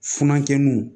Funankɛninw